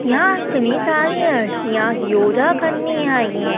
यहाँ इतनी सारी आंटियाँ योगा करने आई हैं।